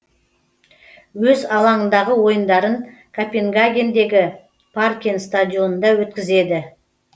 өз алаңындағы ойындарын копенгагендегі паркен стадионында өткізеді